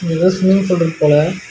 ஏதோ swimming pool இருக்கு போல.